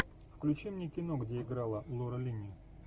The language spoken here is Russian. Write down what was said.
включи мне кино где играла лора линни